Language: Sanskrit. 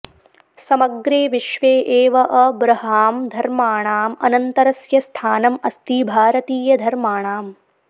समग्रे विश्वे एव अब्रहां धर्माणाम् अनन्तरस्य स्थानम् अस्ति भारतीयधर्माणाम्